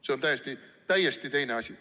See on täiesti teine asi.